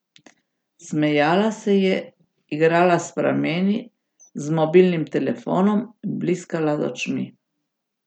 Smejala se je, igrala s prameni, z mobilnim telefonom, bliskala z očmi.